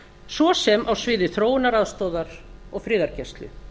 svo sem á sviði þróunaraðstoðar og friðargæslu